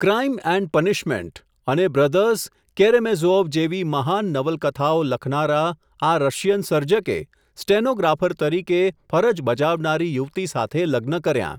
Crime and punishment, અને brothers Karamazov જેવી મહાન નવલકથાઓ લખનારા, આ રશિયન સર્જકે સ્ટેનોગ્રાફર તરીકે, ફરજ બજાવનારી યુવતી સાથે લગ્ન કર્યાં.